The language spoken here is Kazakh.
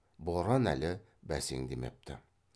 боран әлі бәсеңдемепті